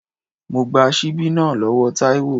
Mo gba síbí náà lọ́wọ́ Taiwo.